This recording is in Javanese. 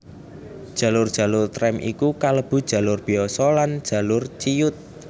Jalur jalur trèm iku kalebu jalur biasa lan jalur ciyut